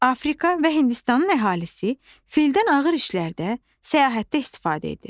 Afrika və Hindistanın əhalisi fildən ağır işlərdə, səyahətdə istifadə edir.